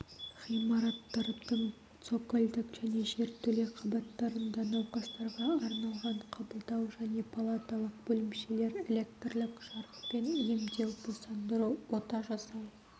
ғимараттардың цокольдік және жертөле қабаттарында науқастарға арналған қабылдау және палаталық бөлімшелер электрлік-жарықпен емдеу босандыру ота жасау